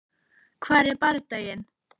Hvar er bardaginn?